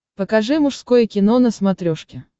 покажи мужское кино на смотрешке